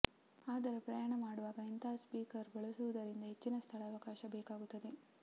ಆದರೆ ಪ್ರಯಾಣ ಮಾಡುವಾಗ ಇಂತಹ ಸ್ಪೀಕರ್ ಬಳಸುವುದರಿಂದ ಹೆಚ್ಚಿನ ಸ್ಥಳಾವಕಾಶ ಬೇಕಾಗುತ್ತದೆ